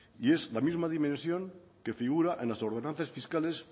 es la misma dimensión que figura en las ordenanzas